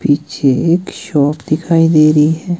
पीछे एक शॉप दिखाई दे रही है।